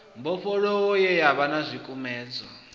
mbofholowo ye yavha na zwikumedzwa